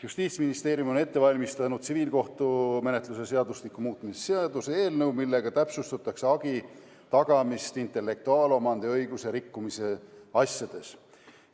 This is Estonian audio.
Justiitsministeerium on ette valmistanud tsiviilkohtumenetluse seadustiku muutmise seaduse eelnõu, millega täpsustatakse hagi tagamist intellektuaalomandi õiguse rikkumise asjades.